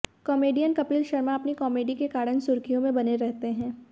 comedian Kapil Sharma अपनी comedy के कारण सुर्खियों में बने रहते हैं